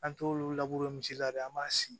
An t'olu misi la dɛ an b'a si